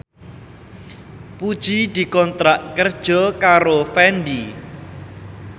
Puji dikontrak kerja karo Fendi